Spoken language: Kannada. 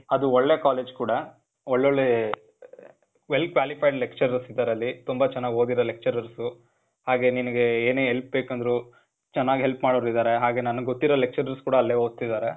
ಅದು ಒಳ್ಳೆ ಕಾಲೇಜ್ ಕೂಡಾ. ಒಳ್ಳೊಳ್ಳೇ, well qualified lecturers ಇದಾರೆ ಅಲ್ಲಿ. ತುಂಬ ಚನ್ನಾಗ್ ಓದಿರೋ lecturers. ಹಾಗೆ ನಿನಿಗೇ ಏನೇ help ಬೇಕಂದ್ರು, ಚನಾಗ್ help ಮಾಡೋರ್ ಇದಾರೆ. ಹಾಗೆ ನನಿಗ್ ಗೊತ್ತಿರೊ lecturers ಕೂಡಾ ಅಲ್ಲೇ ಓದ್ತಿದಾರೆ.